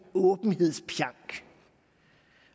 åbenhedspjank